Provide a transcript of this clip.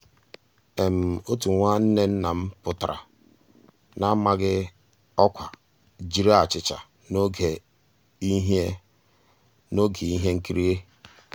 ótú nwá nnwànné nná m pụ́tárá n'àmàghị́ ọ́kwá jiri àchíchà n'ògé íhé n'ògé íhé nkírí.